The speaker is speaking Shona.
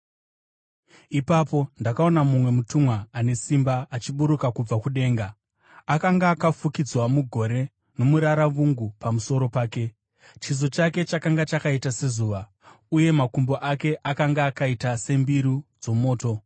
Ipapo ndakaona mumwe mutumwa ane simba achiburuka kubva kudenga. Akanga akafukidzwa mugore, nomuraravungu pamusoro pake; chiso chake chakanga chakaita sezuva, uye makumbo ake akanga akaita sembiru dzomoto.